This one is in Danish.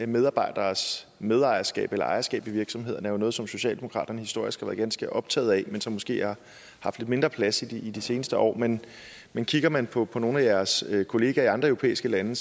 medarbejdernes medejerskab eller ejerskab i virksomhederne er jo noget som socialdemokraterne historisk har været ganske optaget af men som måske har haft lidt mindre plads i de seneste år men men kigger man på på nogle af jeres kollegaer i andre europæiske lande